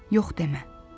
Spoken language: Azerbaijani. Yox demə.